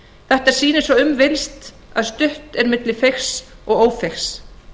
þetta sýnir svo ekki verður um villst að þetta stutt er milli feigs og ófeigs